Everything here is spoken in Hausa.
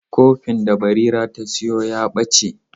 Kofin da Barira ta sayo ya ɓace.